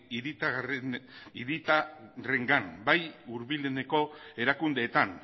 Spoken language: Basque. hiritarrengan eta bai hurbileneko erakundeetan